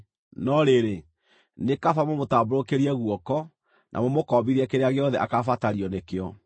No rĩrĩ, nĩ kaba mũmũtambũrũkĩrie guoko, na mũmũkombithie kĩrĩa gĩothe akaabatario nĩkĩo.